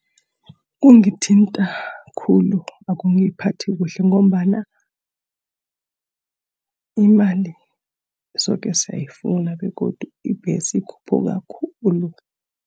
Kungithinta khulu, akungiphathi kuhle ngombana imali soke siyayifuna, begodu ibhesi ikhuphuka khulu.